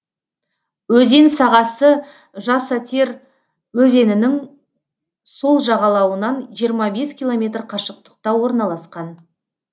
өзен сағасы жасатер өзенінің сол жағалауынан жиырма бес километр қашықтықта орналасқан